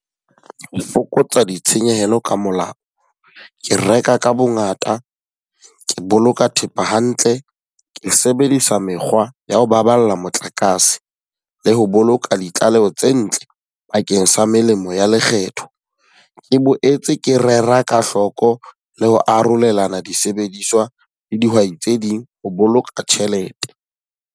Ho fokotsa ditshenyehelo ka molao, ke reka ka bo ngata, ke boloka thepa hantle, ke sebedisa mekgwa ya ho baballa motlakase, le ho boloka ka ditlaleho tse ntle bakeng sa melemo ya lekgetho. Ke boetse ke rera ka hloko le ho arolelana disebediswa le dihwai tse ding ho boloka tjhelete.